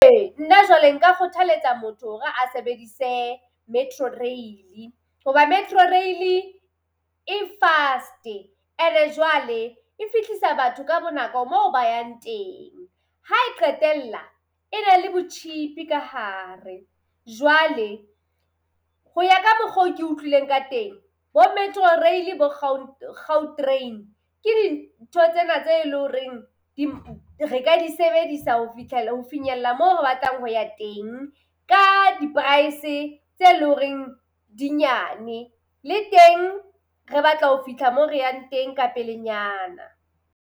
Ee nna jwale nka kgothaletsa motho hore a sebedise Metro Rail, hoba Metro Rail-e e fast-e. Ene jwale e fihlisa batho ka bonako mo ba yang teng. Ha e qetella e be le botjhipi ka hare. Jwale, ho ya ka mokgo ke utloileng ka teng bo Metro Rail bo Gautrain ke dintho tsena tse e le horeng re ka di sebedisa fihlela ho finyella moo re batlang ho ya teng ka di-price tse leng horeng dinyane. Le teng re batla ho fihla moo re yang teng ka pelenyana.